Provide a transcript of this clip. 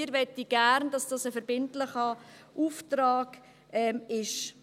Wir möchten gerne, dass dies ein verbindlicher Auftrag ist.